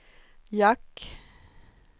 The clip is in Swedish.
jack